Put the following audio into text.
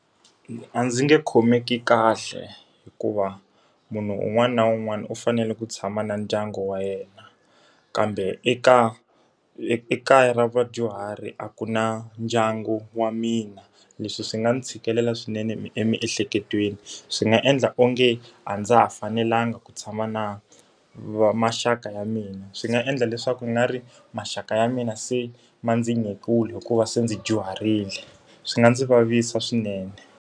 A ndzi nge khomeki kahle hikuva, munhu un'wana na un'wana u fanele ku tshama na ndyangu wa yena. Kambe ekaya ra vadyuhari a ku na ndyangu wa mina. Leswi swi nga ndzi tshikelela swinene emiehleketweni, swi nga endla onge a ndza ha fanelangi ku tshama na maxaka ya mina. Swi nga endla leswaku ungari maxaka ya mina se ma ndzi hikuva se ndzi dyuharile. Swi nga ndzi vavisa swinene.